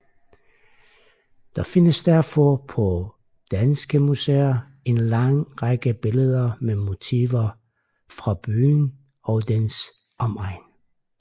Der findes derfor på danske museer en lang række billeder med motiver fra byen og dens omegn